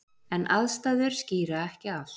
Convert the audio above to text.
En aðstæður skýra ekki allt.